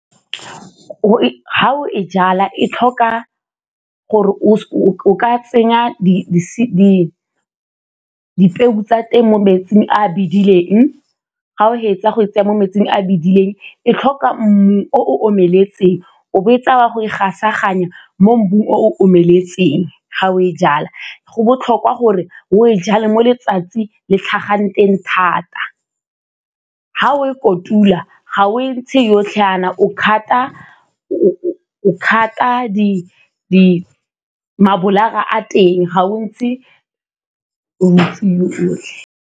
Ga o e jala e tlhoka gore o ka tsenya dipeo tsa teng mo metsing a bedileng, ga o fetsa go e tsenya mo metsing a bedileng e tlhoka mmu o omeletseng, o bo o e tsaya o wa go e gasaganya mo mmung o omeletseng. Ga o e jala go botlhokwa gore o e jale mo letsatsi le tlhagang teng thata. Ga o e kotula ga o e ntshe yotlhe jaana, o cut-a mabolara a teng ga o ntsha o .